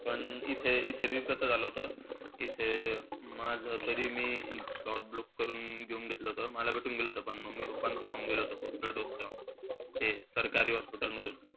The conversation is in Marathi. पण इथे इथे बी कसं झालं होतं. इथे, माझं तरी मी slot book करून घेऊन घेतलं होतं. मला भेटून गेलं होतं. पण mummy, papa च राहून गेलं होतं booster dose चं. हे सरकारी hospital मधून,